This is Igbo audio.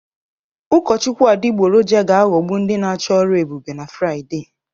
Ụkọchukwu adịgboroja ga-aghọgbu ndị na-achọ ọrụ ebube na Fraịde